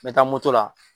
N bɛ taa moto la